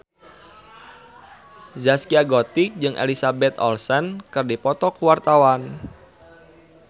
Zaskia Gotik jeung Elizabeth Olsen keur dipoto ku wartawan